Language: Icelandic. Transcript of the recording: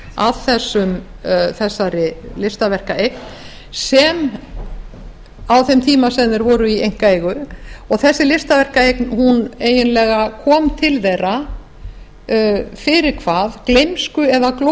að þessari listaverkaeign á þeim tíma sem þeir voru í einkaeigu og þessi listaverkaeign eiginlega kom til þeirra fyrir hvað gleymsku eða